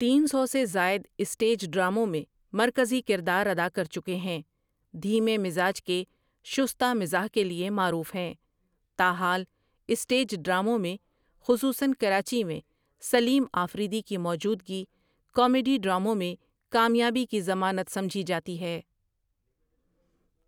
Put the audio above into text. تین سو سے زائد اسٹیج ڈراموں میں مرکزی کردار ادا کر چکے ہیں، دھیمے مزاج کے شستہ مزاح کے لیے معروف ہیں تاحال اسٹیج ڈراموں میں خصوصا کراچی میں سلیم آفریدی کی موجودگی کامیڈی ڈراموں میں کامیابی کی ضمانت سمجھی جاتی ہے ۔